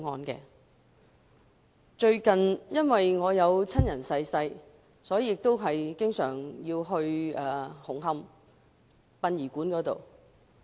由於我有親人近日離世，所以要經常出入紅磡殯儀館一帶。